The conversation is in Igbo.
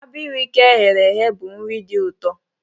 Abirika e ghere eghe bụ nri dị ụtọ.